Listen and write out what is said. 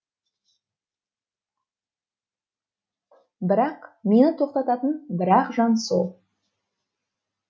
бірақ мені тоқтататын бір ақ жан сол